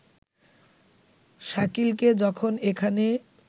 শাকিলকে যখন এখানে